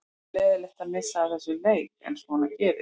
Það var leiðinlegt að missa af þessum leik en svona gerist.